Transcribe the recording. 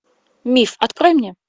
миф открой мне